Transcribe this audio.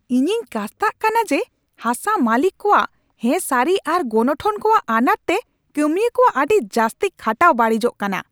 ᱤᱧᱤᱧ ᱠᱟᱥᱛᱟᱜ ᱠᱟᱱᱟ ᱡᱮ ᱦᱟᱥᱟ ᱢᱟᱹᱞᱤᱠ ᱠᱚᱣᱟᱜ ᱦᱮᱸᱥᱟᱹᱨᱤ ᱟᱨ ᱜᱚᱱᱚᱴᱷᱚᱱ ᱠᱚᱣᱟᱜ ᱟᱱᱟᱴ ᱛᱮ ᱠᱟᱹᱢᱤᱭᱟᱹ ᱠᱚᱣᱟᱜ ᱟᱹᱰᱤ ᱡᱟᱹᱥᱛᱤ ᱠᱷᱟᱴᱟᱣ ᱵᱟᱹᱲᱤᱡᱚᱜ ᱠᱟᱱᱟ ᱾